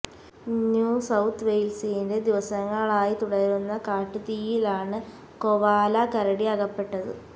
new South വെയ്ല്സിലെ ദിവസങ്ങളായി തുടരുന്ന കാട്ടുതീയിലാണ് കൊവാല കരടി അകപ്പെട്ടത്